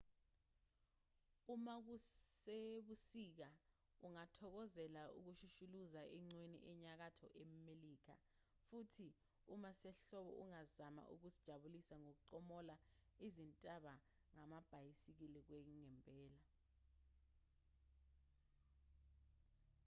uma kusebusika ungathokokozela ukushushuluza eqhweni enyakatho melika futhi uma kusehlobo ungazama ukuzijabulisa ngokuqombola izintaba ngamabhayisikili kwangempela